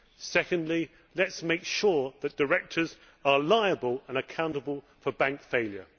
Secondly, let us make sure that directors are liable and accountable for bank failure.